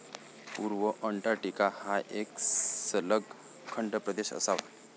पूर्व अंटार्टिका हा एक सलग खंडप्रदेश असावा.